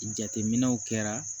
Jateminɛw kɛra